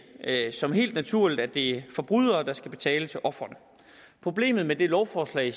som helt naturligt at det er forbrydere der skal betale til ofrene problemet med det lovforslag